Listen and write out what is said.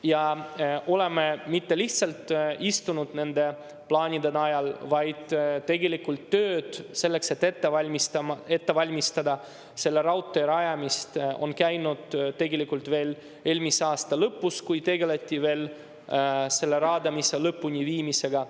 Ja me ei ole mitte lihtsalt istunud nende plaanide najal, vaid tegelikult tööd selleks, et ette valmistada selle raudtee rajamist, on käinud veel eelmise aasta lõpus, kui tegeleti raadamise lõpuleviimisega.